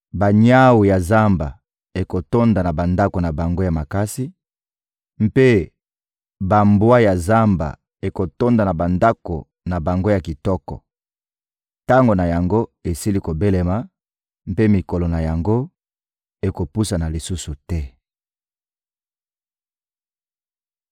Banyawu ya zamba ekotonda na bandako na bango ya makasi, mpe bambwa ya zamba ekotonda na bandako na bango ya kitoko. Tango na yango esili kobelema, mpe mikolo na yango ekopusana lisusu te.